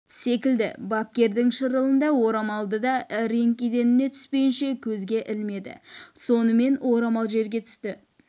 секілді бапкердің шырылын да орамалды да ринг еденіне түспейінше көзге ілмеді сонымен орамал жерге түсті